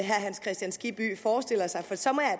hans kristian skibby forestiller sig så må